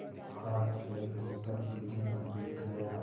हाथपैर धोकर पीढ़े पर बैठ गया